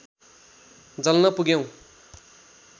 जल्न पुग्यौँ